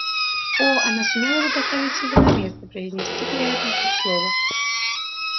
о она сумела бы поставить его на место произнести он при этом хоть слово